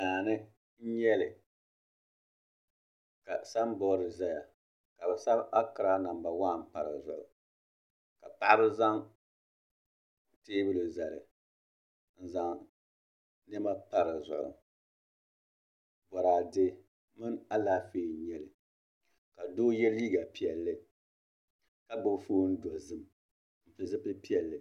Daani n nyɛli ka sanbood ʒɛya ka bi sabi akiraa namba waan pa dizuɣu ka paɣaba zaŋ teebuli zali n zaŋ niɛma pa dizuɣu boraadɛ mini Alaafee n nyɛli ka doo yɛ liiga piɛlli ka gbubi foon dozim ni zipili piɛlli